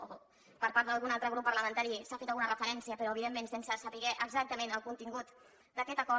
o per part d’algun altre grup parlamentari s’hi ha fet alguna referència però evidentment sense saber exactament el contingut d’aquest acord